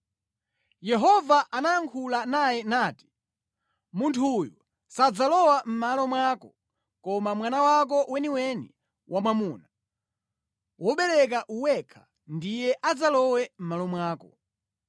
Yehova anayankhula naye nati: “Munthu uyu sadzalowa mʼmalo mwako, koma mwana wako weniweni wamwamuna, wobereka wekha ndiye adzalowe mʼmalo mwako.”